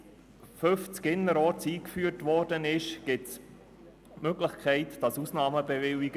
Seit 50 km/h als Höchstgeschwindigkeit innerorts eingeführt worden ist, gibt es die Möglichkeit, Ausnahmen zu bewilligen.